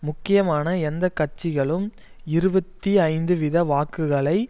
முக்கியமான எந்த கட்சிகளும் இருபத்தி ஐந்து வீத வாக்குகளை